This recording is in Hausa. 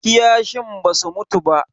Kiyashin basu mutu ba.